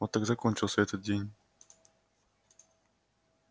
вот так закончился этот день